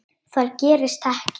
Það gerist ekki.